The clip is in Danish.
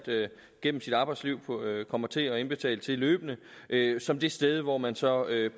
gennem sit arbejdsliv kommer til at indbetale til løbende som det sted hvor man så